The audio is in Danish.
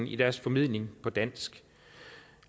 i deres formidling på dansk